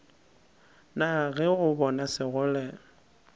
na ge o bona sekgole